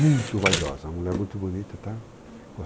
Muito vaidosa. Uma mulher muito bonita, tá.